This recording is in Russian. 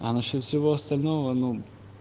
а насчёт всего остального ну